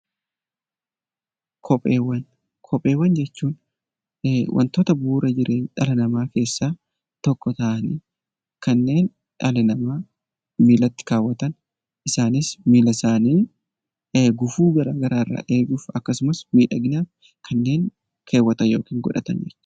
Kopheewwan Kopheewwan jechuun wantoota bu'uura jireenya dhala namaa keessaa tokko ta'anii kanneen dhala namaa miillatti kaawwatan, isaanis miilla isaanii gufuu fara garaa irraa eeguuf akkasumas miidhaginaaf kanneen keewwatan yookiin godhatan dha.